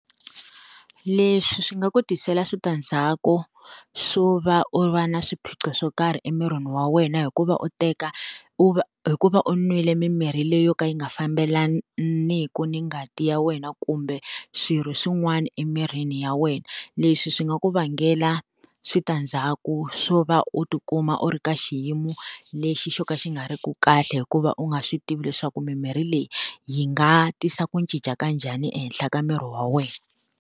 Leswi swi nga ku tisela switandzhaku swo va u va na swiphiqo swo karhi emirini wa wena, hi ku va u teka u va hi ku va u n'wile mimirhi leyi yo ka yi nga fambelaniku ni ngati ya wena kumbe swirho swin'wana emirini wa wena. Leswi swi nga ku vangela switandzhaku swo va u tikuma u ri ka xiyimo lexi xo ka xi nga ri ku kahle hikuva u nga swi tivi leswaku mimirhi leyi yi nga tisa ku cinca ka njhani ehenhla ka miri wa wena.